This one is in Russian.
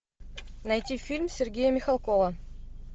найти фильм сергея михалкова